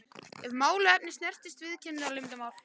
ef málefni snertir viðskiptaleyndarmál.